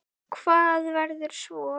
Hvað verður svo?